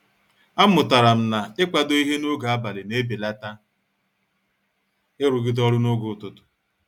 A mụtara na -kwado ịhe n'oge abalị na-ebelata irugide ọrụ n'oge ụtụtụ.